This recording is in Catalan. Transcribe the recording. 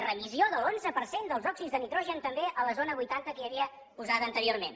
remissió de l’onze per cent dels òxids de nitrogen també a la zona vuitanta que hi havia posada anteriorment